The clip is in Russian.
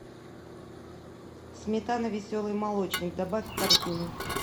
сметана веселый молочник добавь в корзину